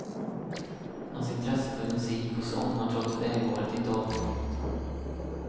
Hans intresse för musik och sång har trots vägvalet inte avtagit.